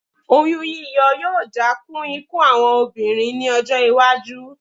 Oyún yíyọ yóò dá kún ikú àwọn obìnrin ní ọjọ́-iwájú.